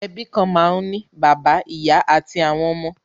Ẹbí kan máa ń ní bàbá, ìyá àti àwọn ọmọ.